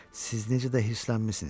Siz necə də hirslənmisiniz?